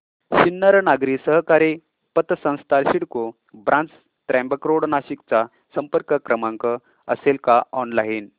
सिन्नर नागरी सहकारी पतसंस्था सिडको ब्रांच त्र्यंबक रोड नाशिक चा संपर्क क्रमांक असेल का ऑनलाइन